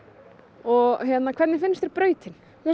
og hvernig finnst þér brautin